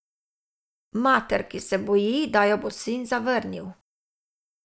Mater, ki se boji, da jo bo sin zavrnil.